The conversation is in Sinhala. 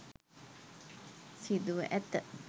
සිදුව ඇත